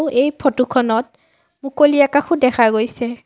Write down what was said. এই ফটো খনত মুকলি আকাশো দেখা গৈছে।